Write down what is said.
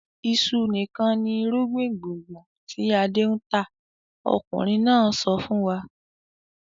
"Iṣu nìkan ni irúgbìn gbùngbùn tí Adé ń tà!" Ọkùnrin náà sọ fún wa.